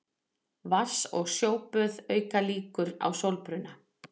Vatns- og sjóböð auka líkur á sólbruna.